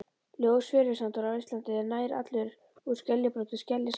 Ljós fjörusandur á Íslandi er nær allur úr skeljabrotum, skeljasandur.